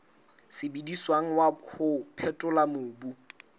sebediswang wa ho phethola mobu